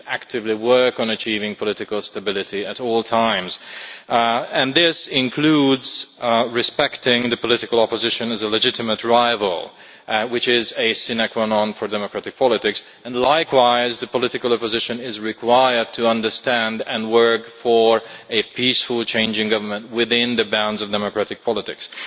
You should actively work on achieving political stability at all times, and this includes respecting the political opposition as a legitimate rival, which is a sine qua non for democratic politics. Likewise, the political opposition is required to understand and work for a peaceful change in government within the bounds of democratic politics.